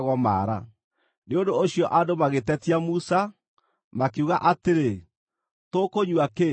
Nĩ ũndũ ũcio andũ magĩtetia Musa, makiuga atĩrĩ, “Tũkũnyua kĩ?”